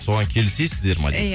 соған келісесіздер ме дейді